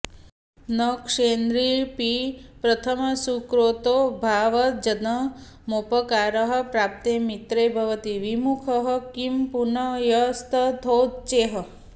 न क्षुद्रेऽपि प्रथमसुकृतोद्भावजन्मोपकारः प्राप्ते मित्रे भवति विमुखः किं पुनर्यस्तथोच्चैः